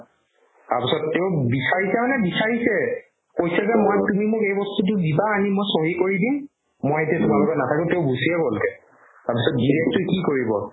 তাৰপিছত তেওঁ বিচাৰিছে মানে বিচাৰিছে কৈছে যে মই তুমি মোক এই বস্তুতো দিবা আনি মই চহী কৰি দিম মই এতিয়া তোমাৰ লগত নাথাকো তেওঁ গুচিয়ে গ'লগে তাৰ পিছত গিৰীয়েকটোই কি কৰিব